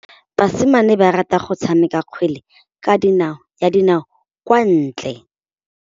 Basimane ba rata go tshameka kgwele ya dinaô kwa ntle.